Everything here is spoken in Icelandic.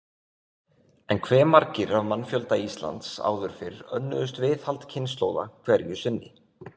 En hve margir af mannfjölda Íslands áður fyrr önnuðust viðhald kynslóða hverju sinni?